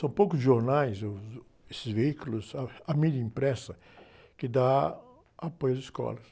São poucos jornais, os, uh, esses veículos, ah, a mídia impressa, que dá apoio às escolas.